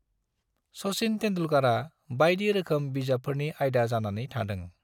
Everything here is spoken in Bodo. सचिन तेन्दुलकरआ बायदि रोखोम बिजाबफोरनि आयदा जानानै थादों।